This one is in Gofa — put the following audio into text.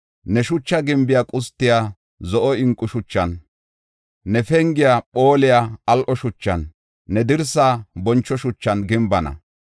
Ne shucha gimbiya qustiya zo7o inqo shuchan, ne pengiya phooliya al7o shuchan, ne dirsa boncho shuchan gimbana.